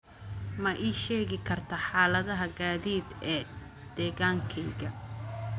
ma ii sheegi kartaa xaalada gaadiid ee deegaankayga